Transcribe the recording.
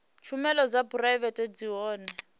tshumelo dza phuraivete zwi hone